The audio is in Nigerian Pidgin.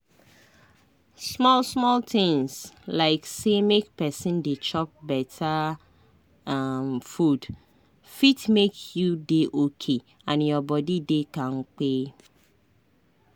small-small tinz like say make pesin dey chop beta um food fit make you dey okay and your body dey kampe.